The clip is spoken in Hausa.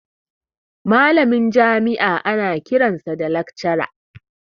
Malamin jami'a ana kiransa da lakcara